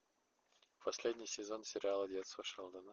последний сезон сериала детство шелдона